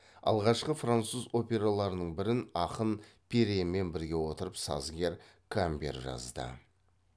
алғашқы француз операларының бірін ақын перренмен біріге отырып сазгер камбер жазды